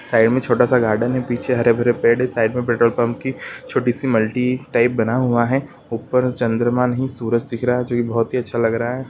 Side में छोटा सा गार्डन है पीछे हरे - भरे पेड़ है साइड में पेट्रोल पंप की छोटी सी मल्टी टाइप बना हुआ है ऊपर चन्द्रमा नहीं सूरज दिख रहा है जो की बहुत ही अच्छा लग रहा है।